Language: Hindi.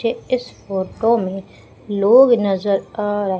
ये इस फोटो मे लोग नजर आ र--